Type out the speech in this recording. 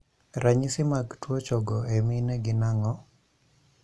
Ranyisi mag tuo chong' e mine gin ang'o?